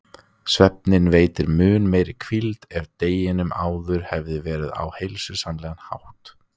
Svefninn veitir mun meiri hvíld ef deginum áður hefur verið varið á heilsusamlegan hátt.